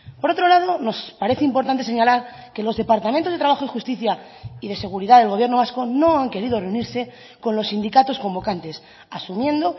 por otro lado nos parece importante señalar que los departamentos de trabajo y justicia y de seguridad del gobierno vasco no han querido reunirse con los sindicatos convocantes asumiendo